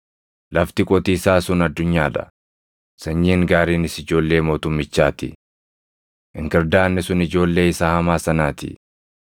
Lafti qotiisaa sun addunyaa dha; sanyiin gaariinis ijoollee mootummichaa ti. Inkirdaadni sun ijoollee isa hamaa sanaa ti;